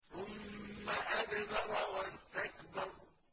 ثُمَّ أَدْبَرَ وَاسْتَكْبَرَ